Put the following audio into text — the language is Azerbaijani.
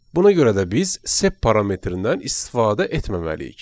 Buna görə də biz sep parametrdən istifadə etməməliyik.